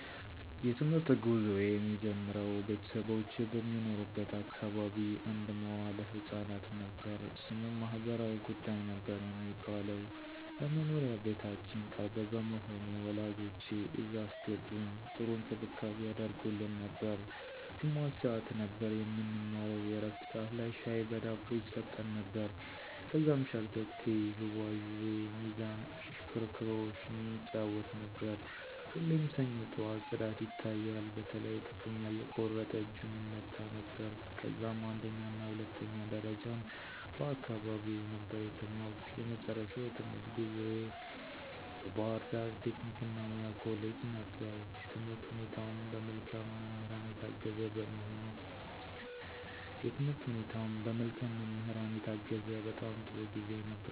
የ ትምህርት ጉዞየ የሚጀምረው ቤተሰቦቼ በሚኖሩበት አካባቢ አንድ መዋለ ህፃናት ነበር። ስሙም ማህበራዊ ጉዳይ ነበር የሚባለው። ለ መኖሪያ ቤታችን ቅርብ በመሆኑ ወላጆቼ እዛ አስገቡኝ .ጥሩ እንክብካቤ ያደርጉልን ነበር። ግማሽ ሰዓት ነበር የምንማረው የ ዕረፍት ሠዓት ላይ ሻይ በ ዳቦ ይሰጠን ነበር። ከዛም ሸርተቴ, ዥዋዥዌ, ሚዛን ,እሽክርክሮሽ እንጫወት ነበር። ሁሌም ሰኞ ጠዋት ፅዳት ይታያል በተለይ ጥፍሩን ያልቆረጠ እጁን ይመታ ነበረ። ከዛም አንደኛና ሁለተኛ ደረጃም በ አካባቢየ ነበር የተማርኩ። የመጨረሻው የትምህርት ጉዞየ ባ ህርዳር ቴክኒክ እና ሙያ ኮሌጅ ነበር። የትምህርት ሁኔታውም በ መልካም መምህራን የታገዘ በጣም ጥሩ ጊዜ ነበር።